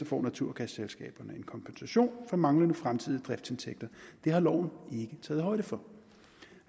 får naturgasselskaberne en kompensation for manglende fremtidige driftsindtægter det har loven ikke taget højde for